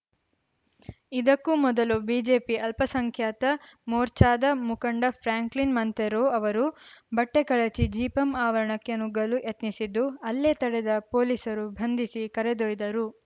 ಇದಕ್ಕೂ ಮೊದಲು ಬಿಜೆಪಿ ಅಲ್ಪಸಂಖ್ಯಾತ ಮೋರ್ಚಾದ ಮುಖಂಡ ಫ್ರಾಂಕ್ಲಿನ್‌ ಮಂತೆರೊ ಅವರು ಬಟ್ಟೆಕಳಚಿ ಜಿಪಂ ಆವರಣಕ್ಕೆ ನುಗ್ಗಲು ಯತ್ನಿಸಿದ್ದು ಅಲ್ಲೇ ತಡೆದ ಪೊಲೀಸರು ಭಂಧಿಸಿ ಕರೆದೊಯ್ದರು